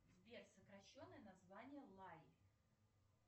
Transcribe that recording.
сбер сокращенное название лари